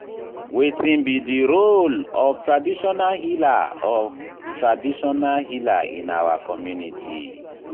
wetin be di role of traditional healer of traditional healer in our community?